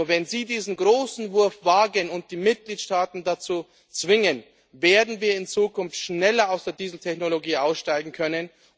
Nur wenn Sie diesen großen Wurf wagen und die Mitgliedstaaten dazu zwingen, werden wir in Zukunft schneller aus der Dieseltechnologie aussteigen können.